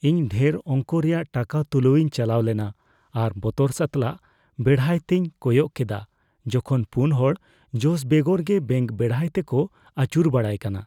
ᱤᱧ ᱰᱷᱮᱨ ᱚᱝᱠᱚ ᱨᱮᱭᱟᱜ ᱴᱟᱠᱟ ᱛᱩᱞᱟᱹᱣ ᱤᱧ ᱪᱟᱞᱟᱣ ᱞᱮᱱᱟ ᱟᱨ ᱵᱚᱛᱚᱨ ᱥᱟᱛᱟᱞᱟᱜ ᱵᱮᱲᱦᱟᱭ ᱛᱮᱧ ᱠᱚᱭᱚᱜ ᱠᱮᱫᱟ ᱡᱚᱠᱷᱚᱱ ᱔ ᱦᱚᱲ ᱡᱚᱥ ᱵᱮᱜᱚᱨ ᱜᱮ ᱵᱮᱝᱠ ᱵᱮᱲᱦᱟᱭ ᱛᱮᱠᱚ ᱟᱹᱪᱩᱨ ᱵᱟᱲᱟᱭ ᱠᱟᱱᱟ ᱾